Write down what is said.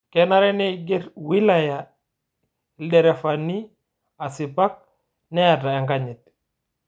Kenare neigerr wilaya lderefani asipak neeta ekanyit